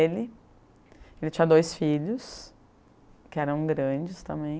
tinha dois filhos, que eram grandes também.